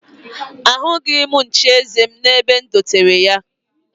Ahụghị m nchieze m n'ebe e dotere ha